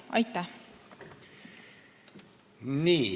Aitäh!